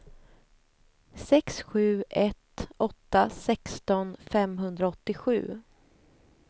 sex sju ett åtta sexton femhundraåttiosju